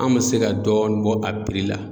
An bɛ se ka dɔɔni bɔ a la.